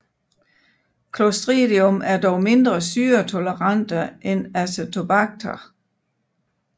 Clostridium er dog mindre syretolerante end Acetobacter